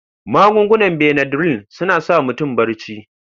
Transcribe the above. Magungunan Benadryl suna sa mutum barci.